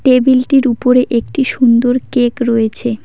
টেবিলটির উপরে একটি সুন্দর কেক রয়েছে।